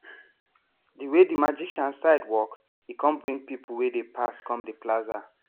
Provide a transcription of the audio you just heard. the way the magician side walk e come bring people wey dey pass come the plaza